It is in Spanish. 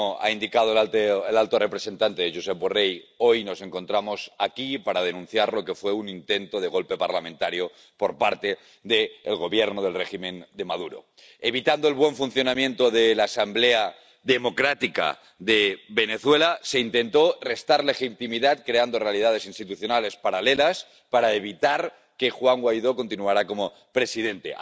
Señora presidenta, tal y como ha indicado el alto representante, Josep Borrell, hoy nos encontramos aquí para denunciar lo que fue un intento de golpe parlamentario por parte del Gobierno del régimen de Maduro. Evitando el buen funcionamiento de la asamblea democrática de Venezuela, se intentó restar legitimidad, creando realidades institucionales paralelas, para evitar que Juan Guaidó continuara como presidente.